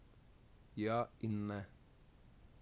Ja in ne.